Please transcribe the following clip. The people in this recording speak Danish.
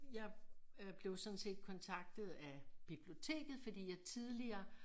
Jeg øh bæev sådan set kontaktet af biblioteket fordi jeg tidligere